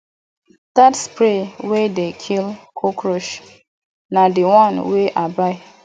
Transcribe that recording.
dat spray wey dey kill cockroach na di one wey i buy